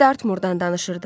Biz Dartmurdan danışırdıq.